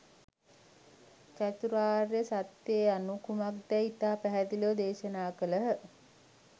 චතුරාර්ය සත්‍යය යනු කුමක්දැයි ඉතා පැහැදිලිව දේශනා කළහ.